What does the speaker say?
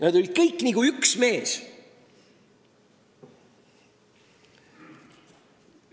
Nad kõik olid nagu üks mees!